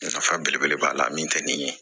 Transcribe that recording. Nafa belebele b'a la min tɛ nin ye